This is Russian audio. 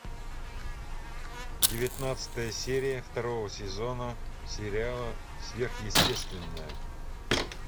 девятнадцатая серия второго сезона сериала сверхъестественное